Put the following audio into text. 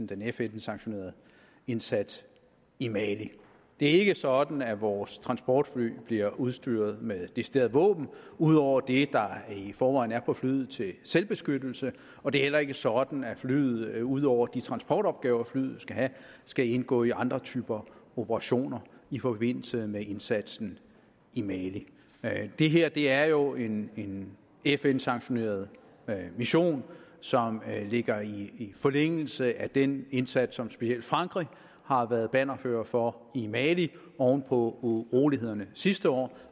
den fn sanktionerede indsats i mali det er ikke sådan at vores transportfly bliver udstyret med deciderede våben ud over det der i forvejen er på flyet til selvbeskyttelse og det er heller ikke sådan at flyet ud over de transportopgaver flyet skal have skal indgå i andre typer operationer i forbindelse med indsatsen i mali det her er jo en fn sanktioneret mission som ligger i forlængelse af den indsats som specielt frankrig har været bannerfører for i mali oven på urolighederne sidste år